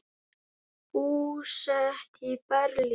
Búsett í Berlín.